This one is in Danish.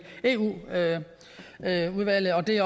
eu udvalget og det